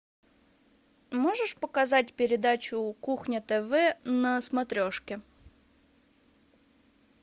можешь показать передачу кухня тв на смотрешке